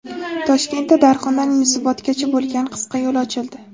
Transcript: Toshkentda Darxondan Yunusobodgacha bo‘lgan qisqa yo‘l ochildi.